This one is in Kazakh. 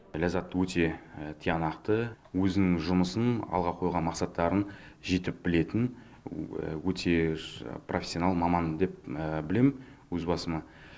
ләззатты өте тиянақты өзін жұмысын алға қойған мақсаттарын жетік білетін өте профессионал маман деп білемін өз басым